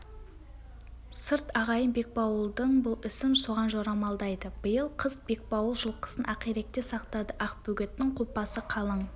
сырт ағайын бекбауылдың бұл ісін соған жорамалдайды биыл қыс бекбауыл жылқысын ақиректе сақтады ақбөгеттің қопасы қалың